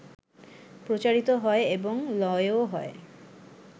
প্রচারিত হয় এবং লয়ও হয়